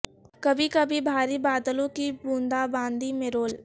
کبھی کبھی بھاری بادلوں کی بوندا باندی میں رول